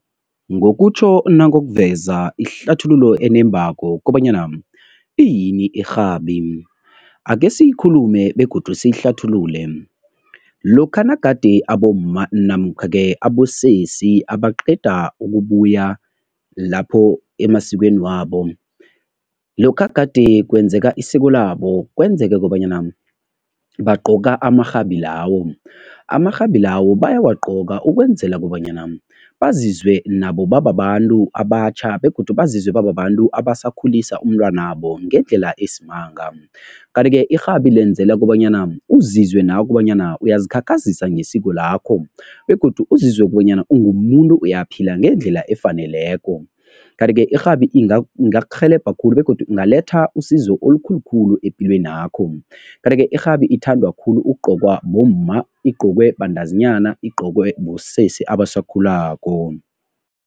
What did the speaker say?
Ngokutjho nangokuveza ihlathululo enembako kobanyana iyini irhabi, akhe siyikhulume begodu siyihlathulule. Lokha nagade abomma namkha-ke abosesi abaqeda ukubuya lapho emasikweni wabo, lokha gade kwenzeka isiko labo kwenzeke kobanyana bagqoka amarhabi lawo. Amarhabi lawo bayawagqoka ukwenzela kobanyana bazizwe nabo bababantu abatjha begodu bazizwe bababantu abasakhuliswa umntwanabo ngendlela esimanga. Kanti-ke irhabi lenzelwa kobanyana uzizwe nawe kobanyana uyazikhakhazisa ngesiko lakho begodu uzizwe kobanyana ungumuntu uyaphila ngendlela efaneleko. Kanti-ke irhabi ingakurhelebha khulu begodu ingaletha usizo olukhulu khulu epilwenakho. Kanti-ke irhabi ithandwa khulu ukugqokwa bomma, igqokwe bantazinyana, igqokwe bosesi abasakhulako.